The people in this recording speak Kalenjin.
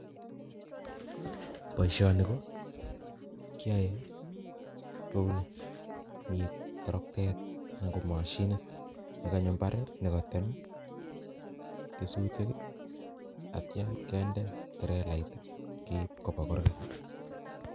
Boisoni kokiae kouni Mii toroktet anan ko machinit nee kanyo imbar nyu kotem kesutik atia kee nde trelait keib koba kurgat